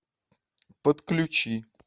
подключи